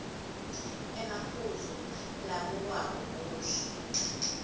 emaphuzu labukwako kuhle